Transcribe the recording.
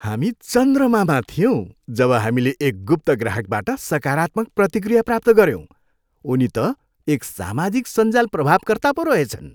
हामी चन्द्रमामा थियौँ जब हामीले एक गुप्त ग्राहकबाट सकारात्मक प्रतिक्रिया प्राप्त गऱ्यौँ । उनी त एक सामाजिक सञ्जाल प्रभावकर्ता पो रहेछन्।